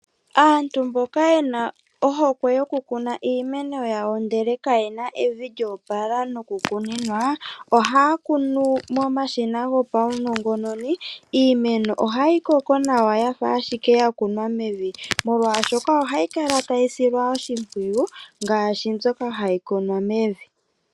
Aantu mboka yena ohokwe yokukuna iimeno yawo ndele kayena evi lya opala nokukuninwa, ohaya kunu momashina gopaunongononi. Iimeno ohayi koko nawa yafa ashike ya kunwa mevi, molwashoka ohayi kala tayi silwa oshimpwiyu ngaashi mbyoka hayi kunwa mevi.